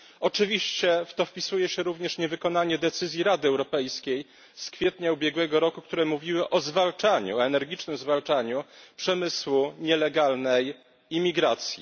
Oczywiście w to wpisuje się również niewykonanie decyzji Rady Europejskiej z kwietnia ubiegłego roku, w której była mowa o energicznym zwalczaniu przemysłu nielegalnej imigracji.